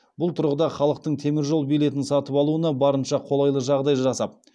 бұл тұрғыда халықтың теміржол билетін сатып алуына барынша қолайлы жағдай жасап